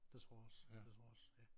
Det tror også det tror også ja